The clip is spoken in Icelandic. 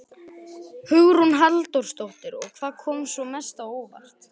Hugrún Halldórsdóttir: Og hvað kom svona mest á óvart?